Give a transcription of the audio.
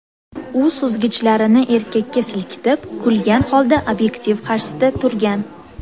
U suzgichlarini erkakka silkitib, kulgan holda obyektiv qarshisida turgan.